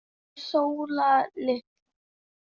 Hún Sóla litla?